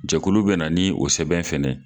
Jakulu bɛ na ni o sɛbɛn fɛnɛ